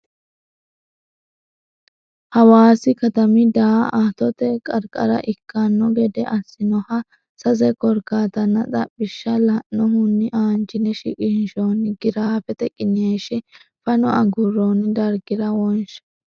Hawaasi katami daa attote qarqara ikkanno gede assinoha sase korkaatanna xaphishsha la annohunni aanchine shiqinshoonni giraafete qiniishshi fano agurroonni dargira wonshe.